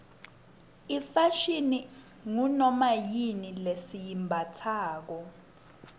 ifashini ngunoma yini lesiyimbatsako